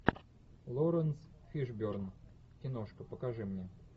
лоренс фишберн киношка покажи мне